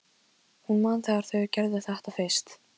Hún man þegar þau gerðu þetta fyrst.